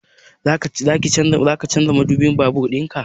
Zaka canza madubin babur ɗinka?